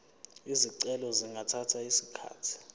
izicelo zingathatha isikhathi